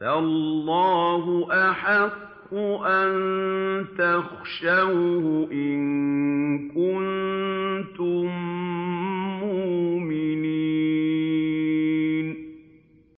فَاللَّهُ أَحَقُّ أَن تَخْشَوْهُ إِن كُنتُم مُّؤْمِنِينَ